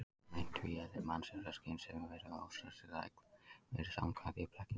Meint tvíeðli mannsins, sem skynsemisveru og ástríðuþræls, virðist samkvæmt því blekking ein.